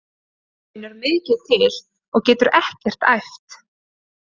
Hann finnur mikið til og getur ekkert æft.